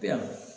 Bi yan